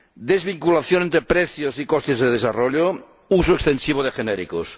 desvinculación de precios y costes de desarrollo, uso extensivo de genéricos.